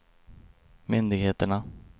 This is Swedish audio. myndigheterna